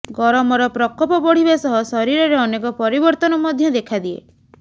ଗରମର ପ୍ରକୋପ ବଢ଼ିବା ସହ ଶରୀରରେ ଅନେକ ପରିବର୍ତ୍ତନ ମଧ୍ୟ ଦେଖାଦିଏ